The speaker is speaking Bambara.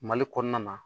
Mali kɔnɔna na